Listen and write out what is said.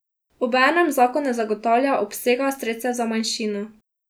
Obenem zakon ne zagotavlja obsega sredstev za manjšino.